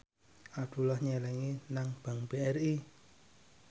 Abdullah nyelengi nang bank BRI